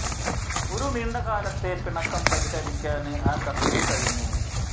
ഒരു നീണ്ട കാലത്തെ പിണക്കം പരിഹരിക്കാന് ആ കത്തിന് കഴിഞ്ഞു